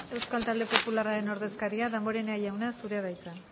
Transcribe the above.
euskal talde popularraren ordezkaria damborenea jauna zurea da hitza